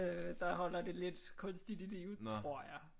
Der holder det lidt kunstigt i live tror jeg